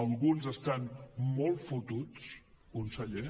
alguns estan molt fotuts conseller